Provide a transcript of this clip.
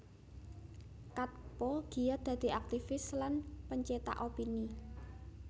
Katppo giat dadi aktivis lan pencetak opini